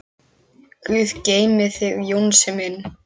Guð geymi þig Jónsi minn.